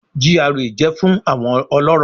GRA jẹ fun awọn ọlọrọ